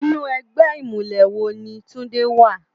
Inú ègbè imúlè wó ni Tunde wá?